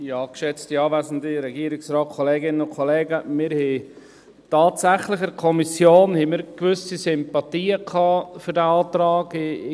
Wir hatten in der Kommission tatsächlich gewisse Sympathien für diesen Antrag.